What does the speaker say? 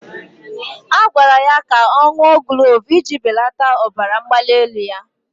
A gwara ya ka ọ ṅụọ glove iji belata ọbara mgbali ya